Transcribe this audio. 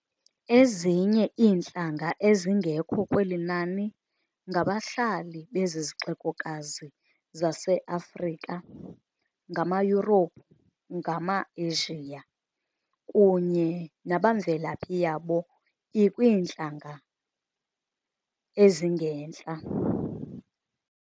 Ezinye iintlanga ezingekho kweli nani ngabahlali bezi zixekokazi zaseAfrika ngamaYurophu, ngamaAsia, kunye nabamvelaphi yabo ikwiintlanga ezingentla.